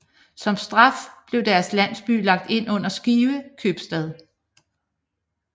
Som straf blev deres landsby lagt ind under Skive købstad